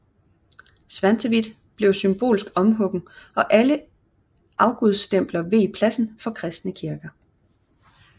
Svantevit blev symbolsk omhuggen og alle afgudstempler veg pladsen for kristne kirker